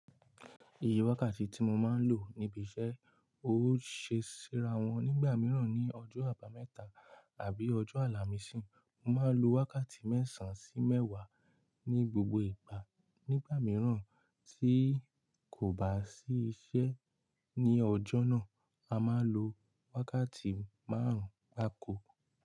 Ìye wákàtí tí mo máa ń lò níbi iṣẹ́, ó ṣe síra wọn nígbà mìíràn ní ọjọ́ àbámẹ́ta àbí ọjọ́ àlàmísìí, mo máa lo wákàtí mẹ́sàn-án sí mẹ́wàá ní gbogbo ìgbà. Nígbà mìíràn tí kò bá sí iṣẹ́ ní ọjọ́ náà, a máa n lo wákàtí márùn-ún gbaàko.